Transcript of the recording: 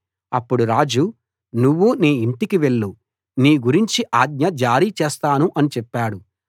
అప్పుడు రాజు నువ్వు నీ ఇంటికి వెళ్ళు నీ గురించి ఆజ్ఞ జారీ చేస్తాను అని చెప్పాడు